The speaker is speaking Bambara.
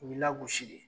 U b'i lagosi de